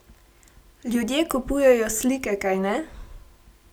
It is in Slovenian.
Ljudje kupujejo slike, kajne?